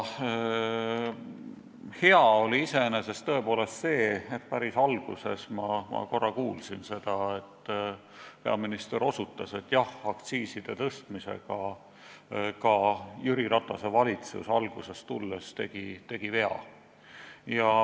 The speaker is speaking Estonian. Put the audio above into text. Hea oli tõepoolest see, et päris alguses ma korra kuulsin, kui peaminister osutas, et jah, aktsiiside tõstmisega tegi ka Jüri Ratase valitsus alguses vea.